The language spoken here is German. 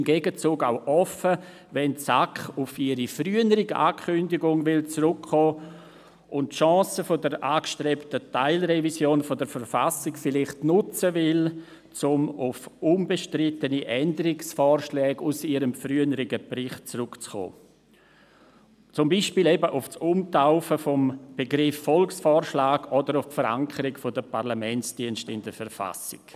Im Gegenzug sind wir auch offen, wenn die SAK auf ihre frühere Ankündigung zurückkommen und die Chance der angestrebten Teilrevision der KV vielleicht nutzen will, um auf unbestrittene Änderungsvorschläge aus ihrem früheren Bericht zurückzukommen, so zum Beispiel auf das Umtaufen des Begriffs Volksvorschlag oder auf die Verankerung der Parlamentsdienste in der KV.